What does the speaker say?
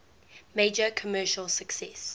major commercial success